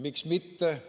Miks mitte?